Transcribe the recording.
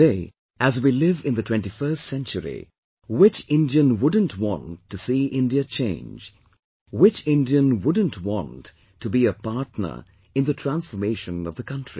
Today, as we live in the 21st century, which Indian wouldn't want to see India change, which Indian wouldn't want to be a partner in the transformation of the country